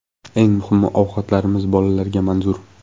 Eng muhimi ovqatlarimiz bolalarga manzur.